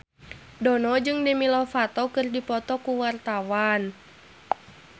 Dono jeung Demi Lovato keur dipoto ku wartawan